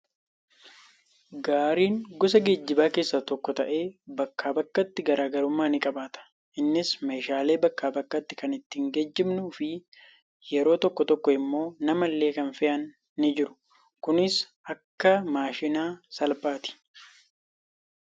Gaariin gosa geejjibaa keessaa tokko ta'ee, bakkaa bakkatti garaagarummaa ni qabaata. Innis meeshaalee bakkaa bakkatti kan ittiin geejjibnuu fi yeroo tokko tokko immoo nama illee kan fe'an ni jiru. Kunis akka maashina salphaati.